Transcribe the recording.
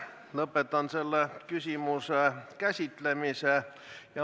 Lõpetan selle küsimuse käsitlemise.